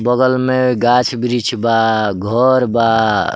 बगल में गाछ-बृक्ष बा घोर बा।